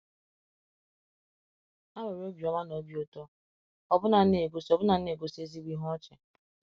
Ha nwere obiọma na obi ụtọ, ọbụna na-egosi ọbụna na-egosi ezigbo ihe ọchị.